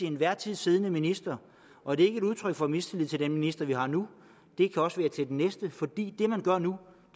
enhver tid siddende minister og det er ikke et udtryk for mistillid til den minister vi har nu det kan også være til den næste for det man gør nu